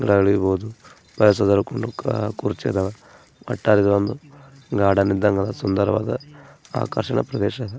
passage ಅಲ್ಲಿ ಕುಂದ್ರಿಕ ಕುರ್ಚಿ ಅದಾವ ನೋಡಲು ಸುಂದರವಾದ ಆಕರ್ಷಣೀಯ ಪ್ರದೇಶ--